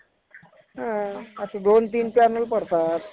असं दोन तीन panel पडतात.